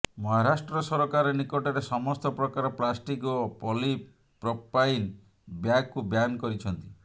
ମହାରାଷ୍ଟ୍ର ସରକାର ନିକଟରେ ସମସ୍ତ ପ୍ରକାର ପ୍ଲାଷ୍ଟିକ ଓ ପଲିପ୍ରପାଇନ୍ ବ୍ୟାଗକୁ ବ୍ୟାନ କରିଛନ୍ତି